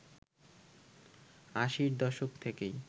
আশির দশক থেকেই